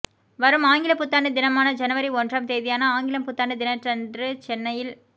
வரும் ஆங்கிலப் புத்தாண்டு தினமான ஜனவரி ஒன்றாம் தேதியான ஆங்கிலம் புத்தாண்டு தினத்தன்று சென்னையில்